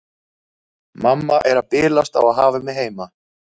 Mamma er að bilast á að hafa mig heima.